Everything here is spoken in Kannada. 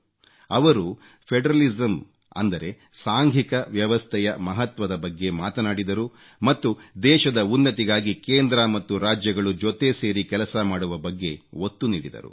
ಅವರು ಫೆಡರಲಿಸಮ್ ಅಂದರೆ ಸಾಂಘಿಕ ವ್ಯವಸ್ಥೆಯ ಮಹತ್ವದ ಬಗ್ಗೆ ಮಾತನಾಡಿದರು ಮತ್ತು ದೇಶದ ಉನ್ನತಿಗಾಗಿ ಕೇಂದ್ರ ಮತ್ತು ರಾಜ್ಯಗಳು ಜೊತೆ ಸೇರಿ ಕೆಲಸ ಮಾಡುವ ಬಗ್ಗೆ ಒತ್ತು ನೀಡಿದರು